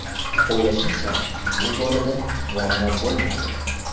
O‘ylashimcha, bu borada muammo bo‘lmaydi.